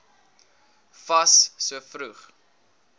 fas so vroeg